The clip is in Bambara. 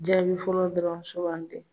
Jaabi fɔlɔ dɔrɔn suganti